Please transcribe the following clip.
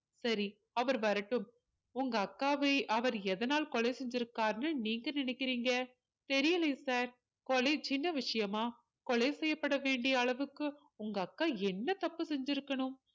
சரி அவர் வரட்டும் உங்க அக்காவை அவர் எதனால் கொலை செஞ்சிருக்காருன்னு நீங்க நினைக்கிறீங்க தெரியலையே sir கொலை சின்ன விஷயமா கொலை செய்யப்பட வேண்டிய அளவுக்கு உங்க அக்கா என்ன தப்பு செஞ்சிருக்கணும்